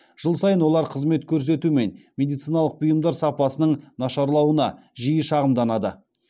жыл сайын олар қызмет көрсету мен медициналық бұйымдар сапасының нашарлауына жиі шағымданады